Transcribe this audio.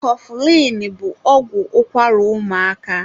Kọfụlịn bụ ọgwụ ụkwara ụmụaka